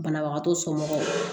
Banabagatɔ somɔgɔw